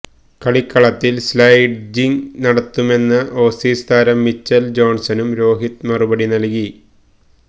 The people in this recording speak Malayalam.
കളിക്കളത്തിൽ സ്ലെഡ്ജിങ്ങ് നടത്തുമെന്ന ഓസീസ് താരം മിച്ചൽ ജോൺസണും രോഹിത് മറുപടി നൽകി